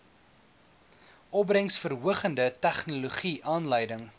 opbrengsverhogende tegnologie aanleiding